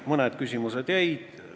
Mõned küsimused jäid.